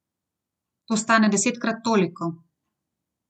To stane desetkrat toliko!